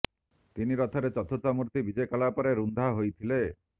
ତିନି ରଥରେ ଚତୁର୍ଦ୍ଧା ମୂର୍ତ୍ତି ବିଜେ କଲା ପରେ ରୁନ୍ଧା ହୋଇଥିଲେ